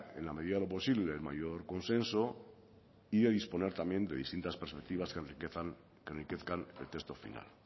en la medida de lo posible el mayor consenso y de disponer también de distintas perspectivas que enriquezcan el texto final